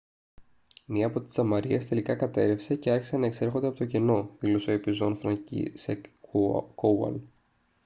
«μία από τις τζαμαρίες τελικά κατέρρευσε και άρχισαν να εξέρχονται από το κενό» δήλωσε ο επιζών φρανκίσσεκ κόουαλ